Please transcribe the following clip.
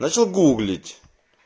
начал гуглить